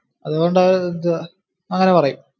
അതുകൊണ്ടു അങ്ങനെ പറയും.